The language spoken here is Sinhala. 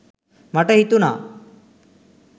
මට හිතුනා